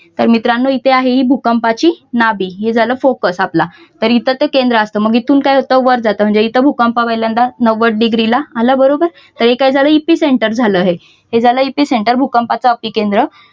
तर मित्रांनो इति आहे भूकंपाची नाभी हे झालं focus आपला तर इथं तो केंद्र मग इथून काय होतं वर जात म्हणजे इथं भूकंप पहिल्यांदा नव्वद डिग्री ला आला बरोबर तर हे काय झालंय एपिसेंटर झालंय हे झालं हे झालं अप्पीकेंद्र